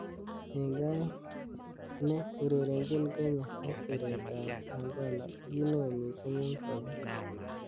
Eng aek ne urerenjin Kenya ak siret ab Angola ko ki neo missing eng sabet.